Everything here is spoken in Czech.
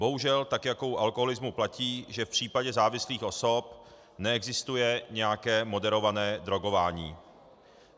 Bohužel jako u alkoholismu platí, že v případě závislých osob neexistuje nějaké moderované drogování.